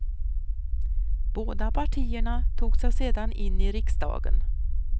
Båda partierna tog sig sedan in i riksdagen.